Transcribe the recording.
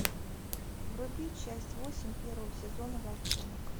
вруби часть восемь первого сезона волчонок